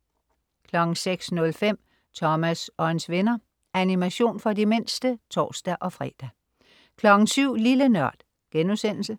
06.05 Thomas og hans venner. Animation for de mindste (tors-fre) 07.00 Lille Nørd*